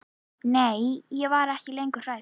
Nei, ég var ekki lengur hrædd.